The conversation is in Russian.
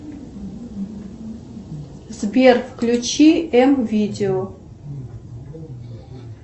сбер включи м видео